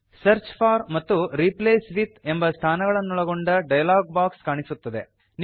search for ಮತ್ತು replace with ಎಂಬ ಸ್ಥಾನಗಳನ್ನೊಳಗೊಂಡ ಡಯಲಾಗ್ ಬಾಕ್ಸ್ ಕಾಣಿಸುತ್ತದೆ